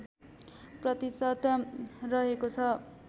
प्रतिशत रहेको छ